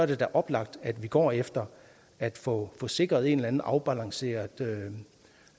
det da oplagt at vi går efter at få sikret en eller anden afbalanceret